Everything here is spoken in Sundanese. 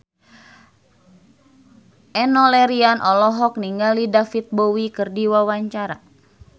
Enno Lerian olohok ningali David Bowie keur diwawancara